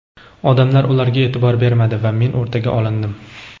odamlar ularga e’tibor bermadi va men o‘rtaga olindim.